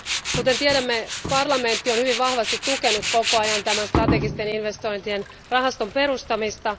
Kuten tiedämme Euroopan parlamentti, on hyvin vahvasti tukenut koko ajan tämän strategisten investointien rahaston perustamista.